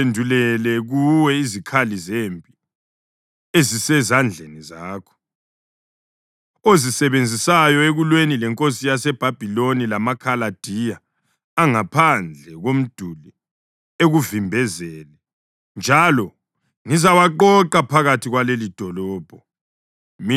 ‘ UThixo, uNkulunkulu ka-Israyeli, uthi: Sekuseduze ukuthi ngiziphendulele kuwe izikhali zempi ezisezandleni zakho, ozisebenzisayo ekulweni lenkosi yaseBhabhiloni lamaKhaladiya angaphandle komduli ekuvimbezele. Njalo ngizawaqoqa phakathi kwalelidolobho.